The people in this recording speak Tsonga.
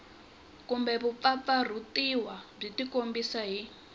kumbe kumpfampfarhutiwa byi tikombisa hi